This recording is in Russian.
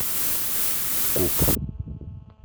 куб